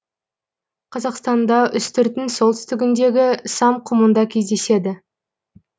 қазақстанда үстірттің солтүстігіндегі сам құмында кездеседі